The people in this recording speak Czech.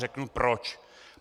Řeknu proč.